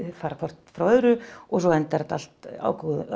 fara hvort frá öðru og svo endar þetta allt á